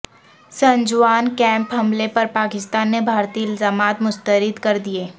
Sunjuwan camp حملے پر پاکستان نے بھارتی الزامات مسترد کر دیے